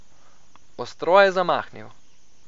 Ostro je zamahnil.